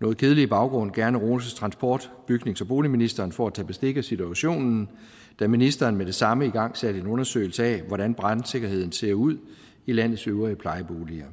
noget kedelige baggrund gerne rose transport bygnings og boligministeren for at tage bestik af situationen da ministeren med det samme igangsatte en undersøgelse af hvordan brandsikkerheden ser ud i landets øvrige plejeboliger